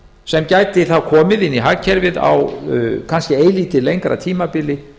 sem gæti þá komið inn í hagkerfið á kannski eilítið lengra tímabili